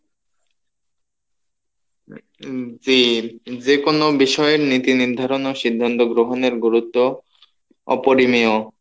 যে যে কোনো বিষয় নীতি নির্ধারণ ও সিদ্ধান্ত গ্রহণের গুরুত্ব অপরিনিয়ো